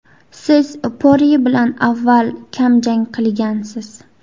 Siz Porye bilan avval ham jang qilgansiz.